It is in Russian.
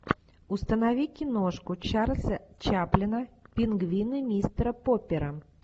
установи киношку чарльза чаплина пингвины мистера поппера